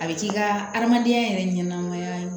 A bɛ k'i ka adamadenya yɛrɛ ɲɛnɛmaya